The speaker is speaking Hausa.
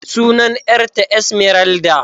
Sunan yar ta Esmeralda.